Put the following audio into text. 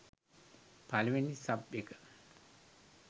පළවෙනි සබ් එක